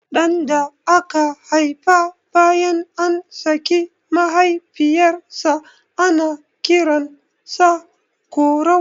Ɗan da aka haifa bayan an saki mahaifiyar sa ana kiran sa Korau